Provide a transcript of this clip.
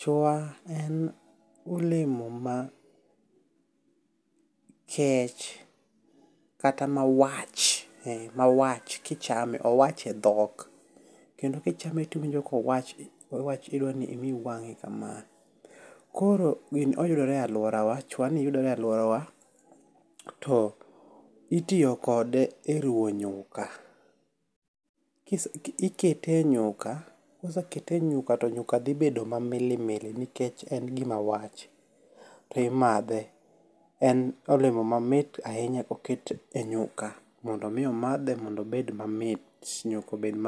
Chwa en olemo ma kech kata ma wach ma wach kichame owach e dhok. Kendo kichame to iwinjo kowach idwa ni imi wang'i kama. Koro gini oyudore e aluora wa chwa ni yudore e aluora we. Itiyo kode e ruwo nyuka. Ikete e nyuka. Kosekete enyuka to nyuka dhi bedo ma milimili nikech e gima wach ti madhe. En olemo mamit ahinya ko ket e nyuka mondo miyo madhe mondo obed mamit nyuka obed ma